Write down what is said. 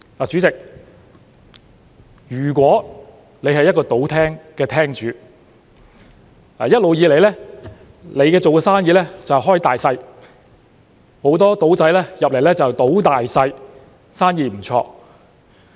主席，如果你是一個賭廳的廳主，一直以來，你做的生意是"開大細"，很多"賭仔"進來"賭大細"，生意不錯。